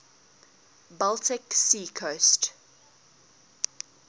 baltic sea coast